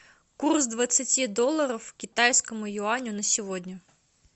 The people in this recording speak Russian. курс двадцати долларов к китайскому юаню на сегодня